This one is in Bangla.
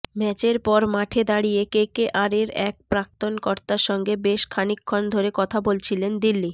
ম্যাচের পর মাঠে দাঁড়িয়ে কেকেআরের এক প্রাক্তন কর্তার সঙ্গে বেশ খানিকক্ষণ ধরে কথা বলছিলেন দিল্লি